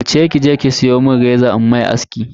Wuce kije ki siyo mun reza in mishi aski.